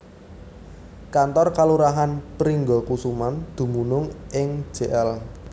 Kantor Kalurahan Pringgakusuman dumunung ing Jl